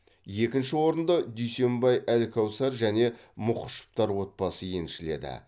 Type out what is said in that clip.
екінші орынды дүйсенбай әлкәусар және мұхышевтар отбасы еншілді